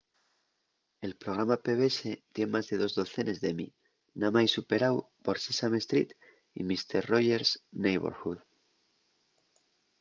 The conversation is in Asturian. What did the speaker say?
el programa pbs tien más de dos docenes d'emmy namái superáu por sesame street y mister roger's neighborhood